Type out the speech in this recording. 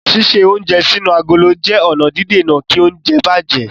Ṣíṣe oúnjẹ sínú agolo jẹ́ ọ̀nà dídèna kí oúnjẹ bàjẹ́.